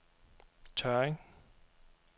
Tørring